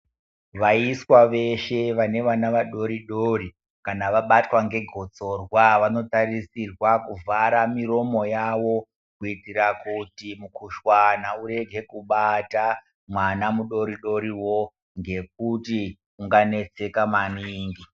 Vaiswa veshe vane vana vadoridori kana vabatwa ngegotsorwa vanotarisirwa kuvhara miromo yavo kuitira kuti mikhuhlani urige kubata mwana mudoridoriwo ngekuti unganetseka maningi.